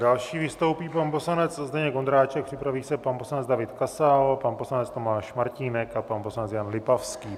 Další vystoupí pan poslanec Zdeněk Ondráček, připraví se pan poslanec David Kasal, pan poslanec Tomáš Martínek a pan poslanec Jan Lipavský.